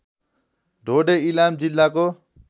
ढोडे इलाम जिल्लाको